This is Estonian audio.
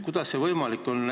Kuidas see võimalik on?